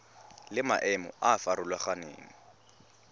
le maemo a a farologaneng